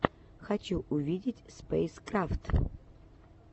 хочу увидеть спэйскрафт